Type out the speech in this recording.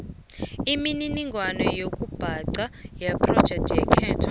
imininingwana yokubhanga yephrojekthakho